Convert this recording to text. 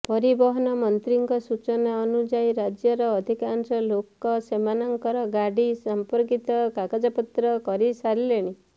ପରିବହନ ମନ୍ତ୍ରୀଙ୍କ ସୂଚନା ଅନୁଯାୟୀ ରାଜ୍ୟର ଅଧିକାଂଶ ଲୋକ ସେମାନଙ୍କର ଗାଡ଼ି ସମ୍ପର୍କିତ କାଗଜପତ୍ର କରି ସାରିଲେଣି